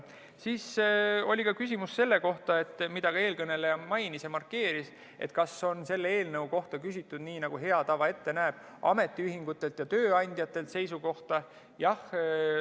Siis oli küsimus selle kohta, mida ka eelkõneleja mainis ja markeeris, et kas selle eelnõu kohta on küsitud, nii nagu hea tava ette näeb, ametiühingute ja tööandjate seisukohta.